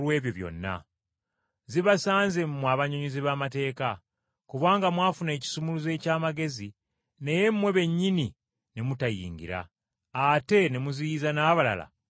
“Zibasanze, mmwe abannyonnyozi b’amateeka! Kubanga mwafuna ekisumuluzo eky’amagezi naye mmwe bennyini ne mutayingira, ate ne muziyiza n’abalala okuyingira.”